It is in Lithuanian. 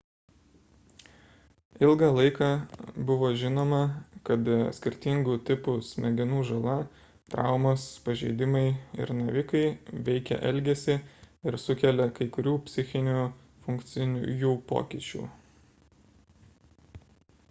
ilgą laiką buvo žinoma kad skirtingų tipų smegenų žala traumos pažeidimai ir navikai veikia elgesį ir sukelia kai kurių psichinių funkcijų pokyčių